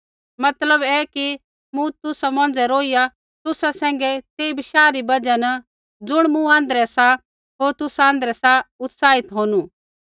मतलब ऐ कि मूँ तुसा मौंझ़ै रोहिया तुसा सैंघै तेई बशाह री बजहा न ज़ुण मूँ आँध्रै सा होर तुसा आँध्रै सा उत्साहित होनू